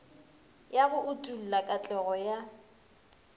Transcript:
ya go utolla katlego ya